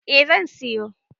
A zan siyo